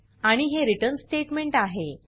आणि हे return statement आहे